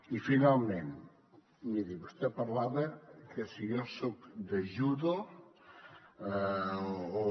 i finalment miri vostè parlava que si jo soc de judo o